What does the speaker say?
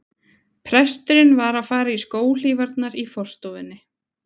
Presturinn var að fara í skóhlífarnar í forstofunni.